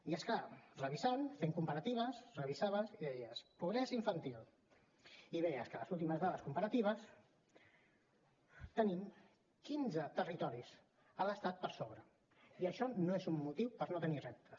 i és clar revisant fent comparatives revisaves i deies pobresa infantil i veies que en les últimes dades comparatives tenim quinze territoris a l’estat per sobre i això no és un motiu per no tenir reptes